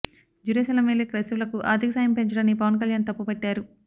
Jerusalem వెళ్లే క్రైస్తవులకు ఆర్థిక సాయం పెంచడాన్ని పవన్ కల్యాణ్ తప్పు పట్టారు